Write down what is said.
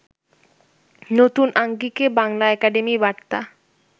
নতুন আঙ্গিকে বাংলা একাডেমি বার্তা